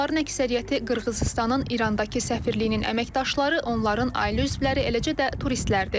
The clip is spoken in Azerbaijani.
Onların əksəriyyəti Qırğızıstanın İrandakı səfirliyinin əməkdaşları, onların ailə üzvləri, eləcə də turistlərdir.